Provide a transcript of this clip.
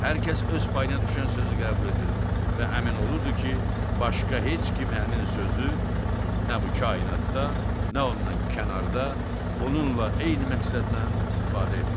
Hər kəs öz payına düşən sözü qəbul edirdi və əmin olurdu ki, başqa heç kim həmin sözü nə bu kainatda, nə ondan kənarda, onunla eyni məqsədlə istifadə etmir.